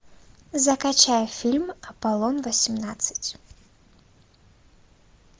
закачай фильм аполлон восемнадцать